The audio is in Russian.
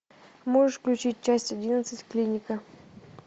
можешь включить часть одиннадцать клиника